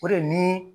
O de ni